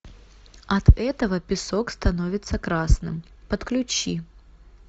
от этого песок становится красным подключи